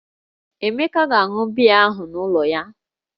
Emeka ga-aṅụ biya ahụ n'ụlọ ya